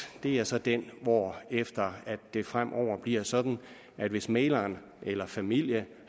er så den hvorefter det fremover bliver sådan at hvis mægleren eller familie